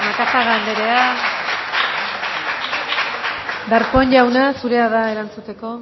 macazaga andrea darpón jauna zurea da erantzuteko